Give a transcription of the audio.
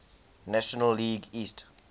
national league east